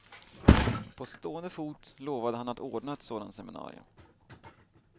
På stående fot lovade han att ordna ett sådant seminarium.